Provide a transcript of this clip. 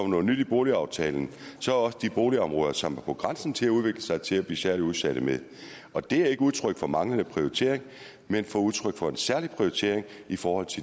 noget nyt i boligaftalen er også de boligområder som er på grænsen til at udvikle sig til at blive særligt udsatte med og det er ikke udtryk for manglende prioritering men udtryk for en særlig prioritering i forhold